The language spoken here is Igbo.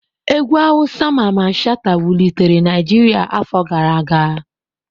Egwu awusa Mamman Shata wulitere Naijiria afọ gara aga.